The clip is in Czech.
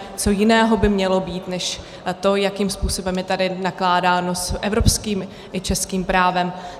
Co jiného by mělo být než to, jakým způsobem je tady nakládáno s evropským i českým právem?